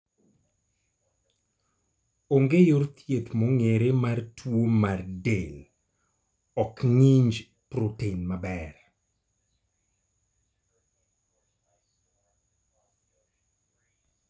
Onge yor thieth mong'ere mar tuwo ma del ok ng'inj proten maber